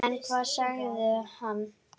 En hvað sagði hann?